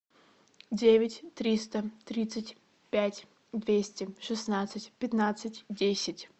девять триста тридцать пять двести шестнадцать пятнадцать десять